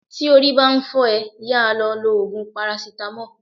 Tí orí ń bá fọ́ ẹ, yá a lọ lo Ògùn parasítámọ̀.